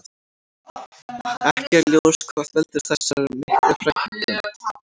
Ekki er ljós hvað veldur þessar miklu fækkun.